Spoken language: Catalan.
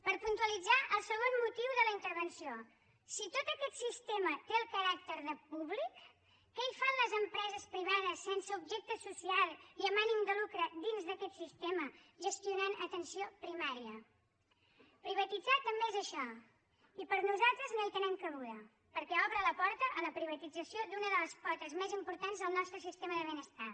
per puntualitzar el segon motiu de la intervenció si tot aquest sistema té el caràcter de públic què hi fan les empreses privades sense objecte social i amb ànim de lucre dins d’aquest sistema gestionant atenció primària privatitzar també és això i per nosaltres no hi tenen cabuda perquè obre la porta a la privatització d’una de les potes més importants del nostre sistema de benestar